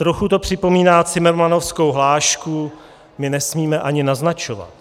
Trochu to připomíná cimrmanovskou hlášku "my nesmíme ani naznačovat".